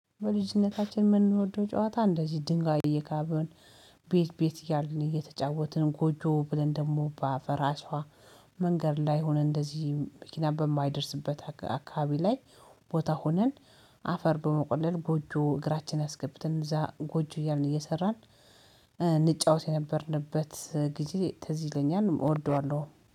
በልጅነታችን የምንወደው ጨዋታ እንደዚህ ድንጋይ እየካብን ቤት ቤት እያልን እየተጫወትን ጎጆ ብለን ደግሞ በአፈር አሸዋ መንገድ ላይ ሆነን እንደዚህ መኪና በማይደርስበት አካባቢ ላይ ቦታ ሆነን አፈር በመቆለል ጎጆ እግራችን አስገብትን እዛ ጎጆ እያልን እየሰራን። የነበርንበት ጊዜ ትዝ ይለኛል እወደዋለሁም